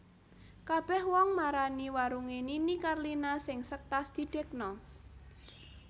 Kabeh wong marani warunge Nini Carlina sing sektas didekno